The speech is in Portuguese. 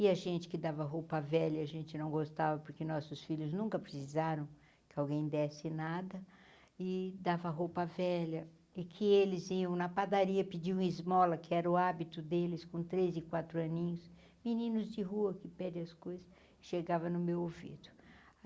E a gente que dava roupa velha, a gente não gostava porque nossos filhos nunca precisaram, que alguém desce nada, e dava roupa velha, é que eles iam na padaria pedir um esmola, que era o hábito deles com três e quatro aninhos, meninos de rua que pedem as coisas e chegava no meu ouvido.